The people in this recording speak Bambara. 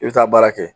I bɛ taa baara kɛ